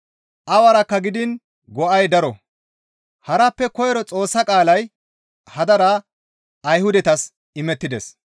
Awarakka gidiin go7ay daro; harappe koyro Xoossa qaalay hadara Ayhudatas imettides.